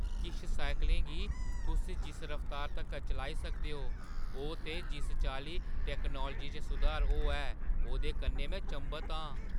किश साइकलें गी तुस जिस रफ्तार तगर चलाई सकदे ओ, ओह् ते जिस चाल्ली टैक्नालोजी च सुधार होआ ऐ, ओह्दे कन्नै में चंभत आं।